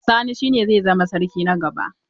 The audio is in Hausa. Sani shine zai zama sarki na gaba.